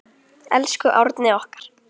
Elsku Árni okkar.